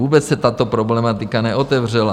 Vůbec se tato problematika neotevřela.